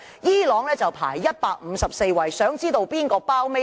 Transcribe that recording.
伊朗排名154位，想知道哪個地方排名最低？